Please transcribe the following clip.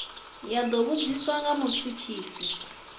ya do vhudziswa nga mutshutshisi